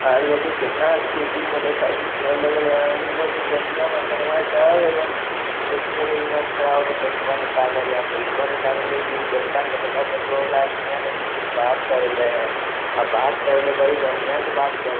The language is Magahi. आर देखि केतना स्कूटी मोटर साइकिल सब लगल हेय अंदर में जेनया मर्दानवा सब एकदम एके लाइनिया में खड़ा होकर पैसवा निकाल रहले हेय आर पैसवा निकाएल रहले इ उजरका शर्टवा पेंटबा वाला आदमीया देखी कुछो बात कर रहले हेय अ बात कर रहले हेय बड़ी बढ़िया से बात कर --